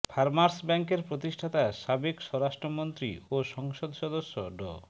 farmers ব্যাংকের প্রতিষ্ঠাতা সাবেক স্বরাষ্ট্রমন্ত্রী ও সংসদ সদস্য ড